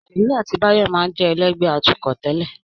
Ṣèyí àti Báyọ̀ máa ń jẹ́ ẹlẹ́gbẹ̀ẹ́ atukọ̀ tẹ́lẹ̀